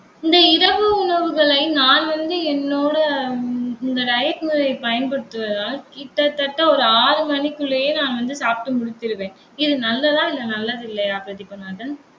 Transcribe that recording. இந்த இரவு உணவுகளை நான் வந்து என்னோட இந்~ இந்த diet முறையை பயன்படுத்துவதால் கிட்டத்தட்ட ஒரு ஆறு மணிக்குள்ளேயே நான் வந்து சாப்பிட்டு முடிச்சிருவேன். இது நல்லதா? இல்லை நல்லது இல்லையான்னு? பிரதீபநாதன்